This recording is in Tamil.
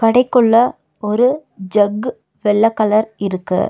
கடைக்குள்ள ஒரு ஜக் வெள்ள கலர் இருக்கு.